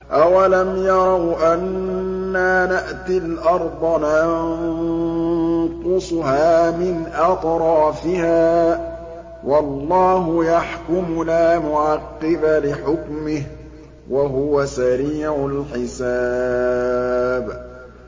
أَوَلَمْ يَرَوْا أَنَّا نَأْتِي الْأَرْضَ نَنقُصُهَا مِنْ أَطْرَافِهَا ۚ وَاللَّهُ يَحْكُمُ لَا مُعَقِّبَ لِحُكْمِهِ ۚ وَهُوَ سَرِيعُ الْحِسَابِ